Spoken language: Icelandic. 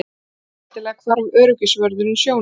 Skyndilega hvarf öryggisvörðurinn sjónum.